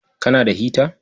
Kana da hita?